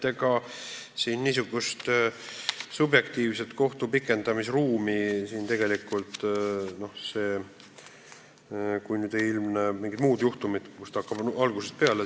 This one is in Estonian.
Ega siin niisugust subjektiivset kohtu poolt pikendamise ruumi tegelikult ei ole, kui just ei ilmne mingid muud asjaolud, mille tõttu hakatakse algusest peale.